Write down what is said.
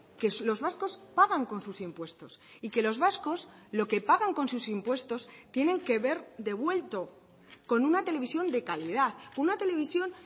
que los vascos pagan con sus impuestos y que los vascos lo que pagan con sus impuestos tienen que ver devuelto con una televisión de calidad una televisión